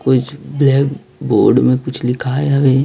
कुछ black board में कुछ लिखा है अभी--